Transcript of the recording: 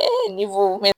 ni